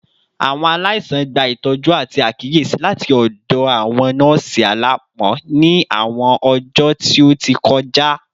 Awọn alaisan gba itọju ati akiyesi lati ọdọ awọn nọọsi alaapọn ni awọn ọjọ ti o ti kọja